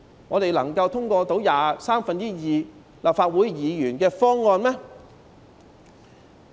我們能夠通過需要有三分之二立法會議員支持的方案嗎？